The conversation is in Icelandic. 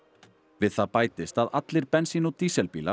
við það bætist að allir bensín og dísilbílar